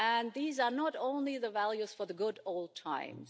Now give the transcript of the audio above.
These are not only values for the good old times.